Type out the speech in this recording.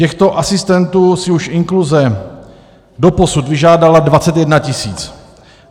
Těchto asistentů si už inkluze doposud vyžádala 21 tisíc.